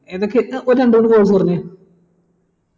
ഏതൊക്കെ എടുത്തേ ഒരു രണ്ടു മൂന്നു course പറഞ്ഞെ